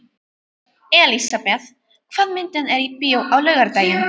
Elisabeth, hvaða myndir eru í bíó á laugardaginn?